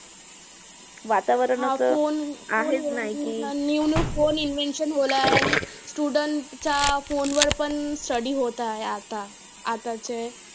हा phone आता new new phone invention होयला आहे. आणि student च्या phone वर पण study होतं आहे आता. आताचे